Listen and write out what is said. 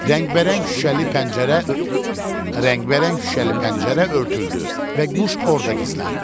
Rəngbərəng şüşəli pəncərə, rəngbərəng şüşəli pəncərə örtüldü və quş orada gizləndi.